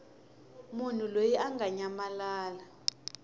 munhu loyi a nga nyamalala